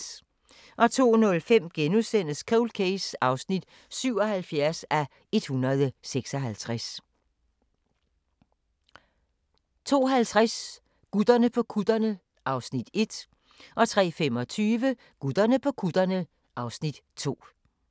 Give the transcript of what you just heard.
02:05: Cold Case (77:156)* 02:50: Gutterne på kutterne (Afs. 1) 03:25: Gutterne på kutterne (Afs. 2)